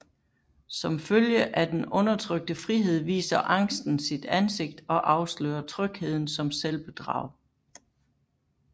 Som følge af den undertrykte frihed viser angsten sit ansigt og afslører trygheden som selvbedrag